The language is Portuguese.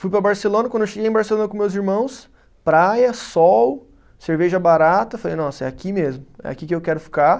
Fui para Barcelona, quando eu cheguei em Barcelona com meus irmãos, praia, sol, cerveja barata, falei, nossa, é aqui mesmo, é aqui que eu quero ficar.